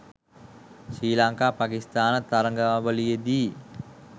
Sri Lanka Pakistan තරගාවලියේදී.